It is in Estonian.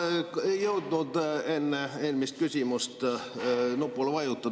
Ma ei jõudnud enne eelmist küsimust nupule vajutada.